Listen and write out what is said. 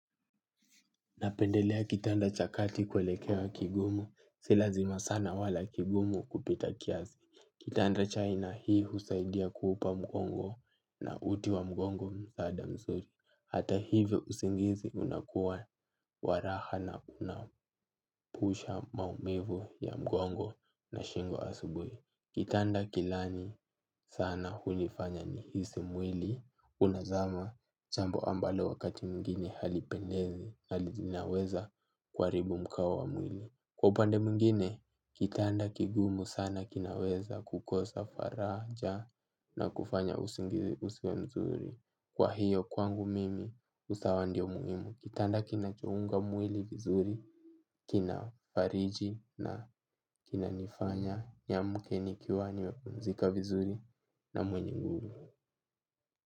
Napendelea kitanda cha kati kuelekea kigumu, si lazima sana wala kigumu kupita kiasi. Kitanda chai na hii husaidia kuupa mgongo na uti wa mgongo msaada mzuri. Hata hivyo usingizi unakuwa wa raha na kuna pusha maumivu ya mgongo na shingo asubuhi. Kitanda kilani sana hulifanya nihisi mwili. Unazama, jambo ambalo wakati mwingine halipendezi. Hali zinaweza kuharibui mkao wa mwili. Kwa upande mwingine, kitanda kigumu sana kinaweza kukosa faraja. Na kufanya usingizi usiwe mzuri. Kwa hiyo kwangu mimi usawa ndio muhimu. Kitanda kina chunga mwili vizuri. Kina fariji na kina nifanya niamke nikiwa nimepumzika vizuri na mwenye nguvu.